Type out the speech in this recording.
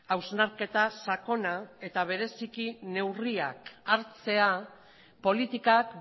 hausnarketa sakona eta bereziki neurriak hartzea politikak